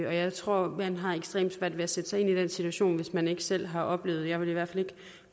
og jeg tror man har ekstremt svært at sætte sig ind i den situation hvis man ikke selv har oplevet det jeg vil i hvert fald ikke